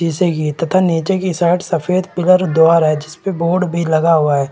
इसे ये तथा नीचे के साइड सफेद पिलर द्वारा जिसपे बोर्ड लगा हुआ है।